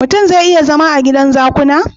Mutun zai iya zama a gidan zakuna?